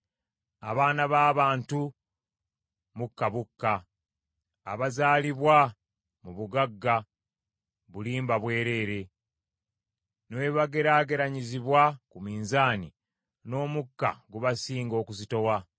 Abaana b’abantu mukka bukka, abazaalibwa mu bugagga bulimba bwereere; ne bwe bageraageranyizibwa ku minzaani, n’omukka gubasinga okuzitowa.